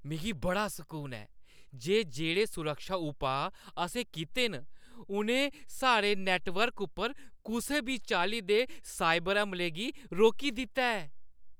मिगी बड़ा सकून ऐ जे जेह्‌ड़े सुरक्षा उपाऽ असें कीते न उʼनें साढ़े नैट्टवर्क उप्पर कुसै बी चाल्ली दे साइबर हमले गी रोकी दित्ता ऐ।